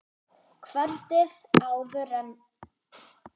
Kvöldið áður en